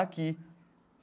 Aqui.